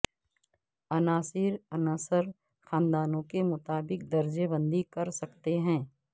عناصر عنصر خاندانوں کے مطابق درجہ بندی کر سکتے ہیں